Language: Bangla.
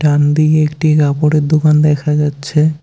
ডানদিকে একটি কাপড়ের দোকান দেখা যাচ্ছে।